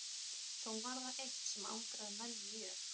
Þó var það eitt sem angraði menn mjög.